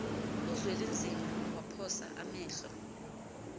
uzwelinzima waphosa amehlo